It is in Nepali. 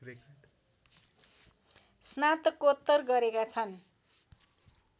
स्नातकोत्तर गरेका छन्।